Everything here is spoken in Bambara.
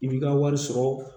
I b'i ka wari sɔrɔ